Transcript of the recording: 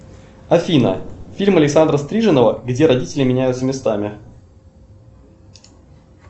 афина фильм александра стриженова где родители меняются местами